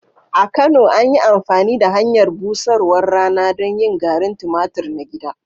A Kano, an yi amfani da hanyar busarwar rana don yin garin tumatur na gida.